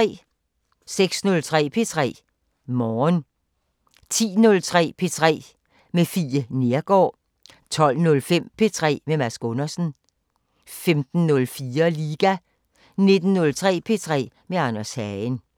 06:03: P3 Morgen 10:03: P3 med Fie Neergaard 12:05: P3 med Mads Gundersen 15:04: Liga 19:03: P3 med Anders Hagen